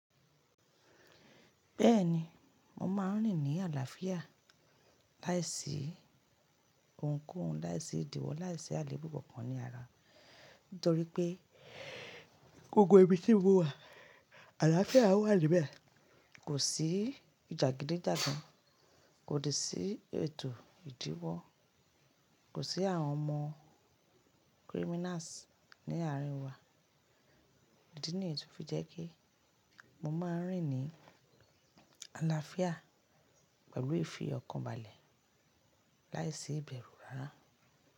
Bẹ́ẹ̀ni, mo máa ń rìn ní àlàáfíà láìsí ohunkóhun, láìsí ìdíwọ́, láìsí àlèébù bkankan ní ara. Nítorí pé gbogbo ibi tí mo wà, àlàáfíà wà níbẹ̀. Kò sí jàgidijágan, kò de sì ètò ìdíwọ́, kò sí àwọn ọmọ criminals ní àárín wa. Idi niyi tò fi jẹ́ pe mo máa ń rìn ní àlàáfíà pẹ̀lú ìfi ọkàn balẹ̀ láìsí ìbẹ̀rú rárá.